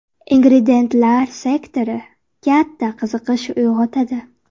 Ingrediyentlar» sektori katta qiziqish uyg‘otadi.